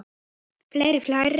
Fleiri færi?